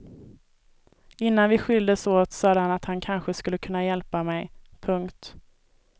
Innan vi skildes åt sade han att han kanske skulle kunna hjälpa mig. punkt